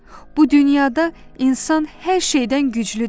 Bu dünyada insan hər şeydən güclüdür.